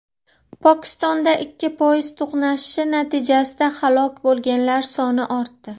Pokistonda ikkita poyezd to‘qnashishi natijasida halok bo‘lganlar soni ortdi.